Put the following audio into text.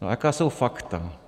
A jaká jsou fakta?